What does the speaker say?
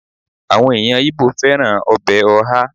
àwọn eyan ibo fẹràn obe oha